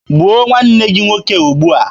Gbuo nwanne gị nwoke ugbua!